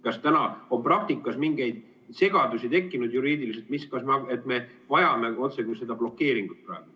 Kas täna on praktikas mingeid juriidilisi segadusi tekkinud, et me vajame seda blokeeringut?